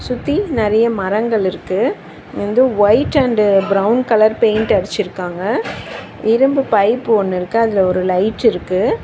சுத்தி நெறைய மரங்கள் இருக்கு வந்து white and brown colour paint அடிச்சிருக்காங்க இரும்பு பைப் ஒன்னு இருக்கு அதுல ஒரு லைட் இருக்கு.